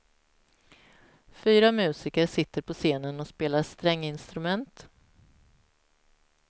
Fyra musiker sitter på scenen och spelar stränginstrument.